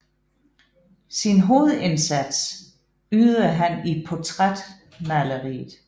Sin hovedindsats ydede han i portrætmaleriet